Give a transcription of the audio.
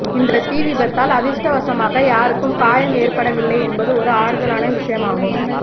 இந்த தீ விபத்தால் அதிர்ஷ்டவசமாக யாருக்கும் காயம் ஏற்படவில்லை என்பது ஒரு ஆறுதலான விஷயம் ஆகும்